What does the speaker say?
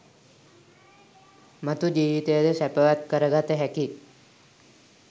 මතු ජීවිතය ද සැපවත් කර ගත හැකියි.